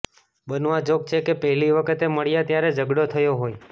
બનવા જોગ છે કે પહેલી વખતે મળ્યા ત્યારે ઝઘડો થયો હોય